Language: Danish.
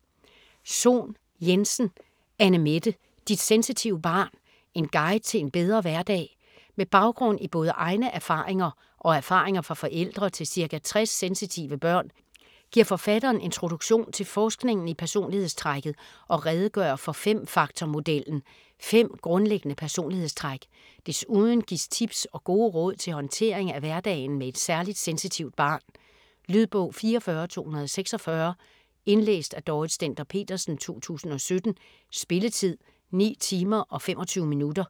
Sohn Jensen, Anne-Mette: Dit sensitive barn: en guide til en bedre hverdag Med baggrund i både egne erfaringer og erfaringer fra forældre til ca. 60 sensitive børn giver forfatteren introduktion til forskningen i personlighedstrækket og redegør for fem-faktor-modellen - fem grundlæggende personlighedstræk. Desuden gives tips og gode råd til håndtering af hverdagen med et særligt sensitivt barn. Lydbog 44246 Indlæst af Dorrit Stender-Petersen, 2017. Spilletid: 9 timer, 25 minutter.